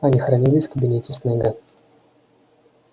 они хранились в кабинете снегга